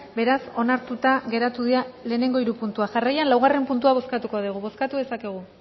beraz onartuta geratu dira lehenengo hiru puntuak jarraian laugarrena puntua bozkatuko dugu bozkatu dezakegu